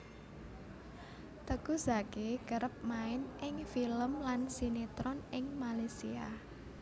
Teuku Zacky kerep main ing film lan sinetron ing Malaysia